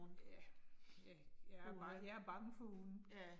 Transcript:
Ja. Ja, jeg, jeg er bange for hunde